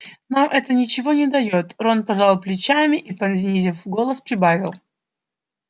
нам это ничего не даёт рон пожал плечами и понизив голос прибавил